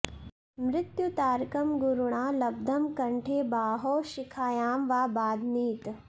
मृत्युतारकं गुरुणा लब्धं कण्ठे बाहौ शिखायां वा बध्नीत